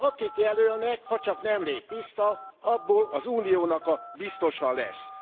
Akit jelölnek hacsak nem lép vissza abból az Uniónak a biztosa lesz.